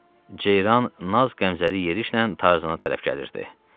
Ceyran naz-qəmzəli yerişlə Tarzana tərəf gəlirdi.